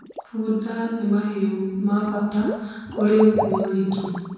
Funda nĩ mahiũ ma bata kwa ũkui wa indo